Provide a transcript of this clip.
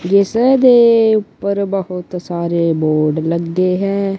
ਜਿਸ ਦੇ ਉੱਪਰ ਬਹੁਤ ਸਾਰੇ ਬੋਰਡ ਲੱਗੇ ਹੈ।